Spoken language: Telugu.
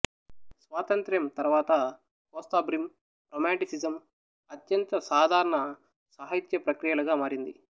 స్వాతంత్ర్యం తరువాత కోస్తాబ్రిమ్ రొమాంటిసిజం అత్యంత సాధారణ సాహిత్య ప్రక్రియలుగా మారింది